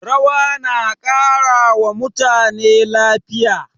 Rawa na ƙara wa mutane lafiya.